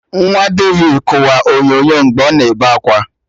Nwa David kụwa onyonyo mgbe ọ na-ebe akwa